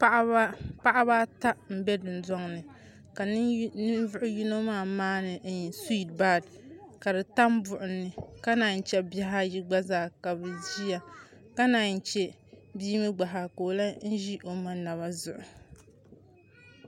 Paɣaba ata n bɛ dundoŋ ni ka ninvuɣu yino maa maani suwiit bar ka di tam buɣum ni ka naan chɛ bihi ayi gba zaa ka bi ʒiya ka naan chɛ bia mii gba zaa ka o lahi ʒi o ma naba zuɣu